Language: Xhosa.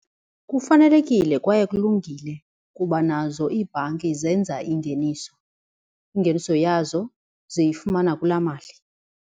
Kufanelekile kwaye kulungile kuba nazo iibhanki zenza ingeniso, ingeniso yazo ziyifumana kulaa mali.